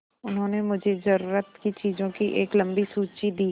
उन्होंने मुझे ज़रूरत की चीज़ों की एक लम्बी सूची दी